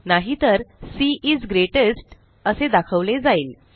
नाहीतर she is greatest असे दाखवले जाईल